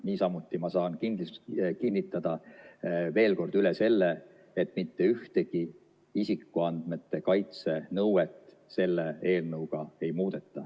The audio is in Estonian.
Niisamuti ma saan kinnitada veel kord üle selle, et mitte ühtegi isikuandmete kaitse nõuet selle eelnõuga ei muudeta.